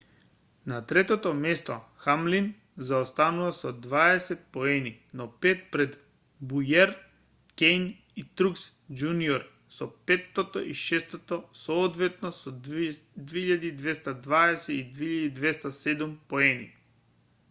на третото место хамлин заостанува со дваесет поени но пет пред боујер кејн и трукс џуниор се петто и шесто соодветно со 2220 и 2207 поени